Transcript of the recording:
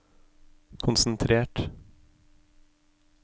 konsentrert